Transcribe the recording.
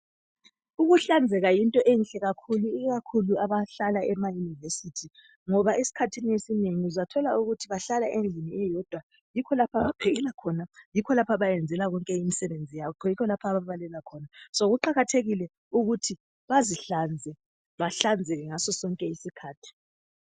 Ukuhlanzeka yinto enhle kakhulu, ikakhulu abahlala emayunivesithi. Ngoba esikhathini esinengi uzathola ukuthi bahlala endlini eyodwa. Yikho lapho abaphekela khona, yikho lapho abayenzela konke imisebenzi yabo, yikho lapho ababalela khona. So kuqakathekile ukuthi bazihlanze, bahlanzele ngaso sonke isikhathi.